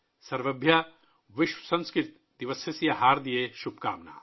سرویبھیا ، وشو سنسکرت دِوسسیہ ہاردیہہ ، شبھ کامناہا